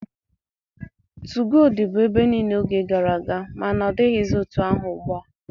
2go dịbu ebe niile oge gara aga, ma na ọ dịghịzi etu ahụ ugbua.